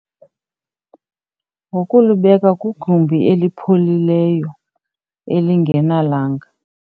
Ngokulibeka kwigumbi elipholileyo elingenalanga.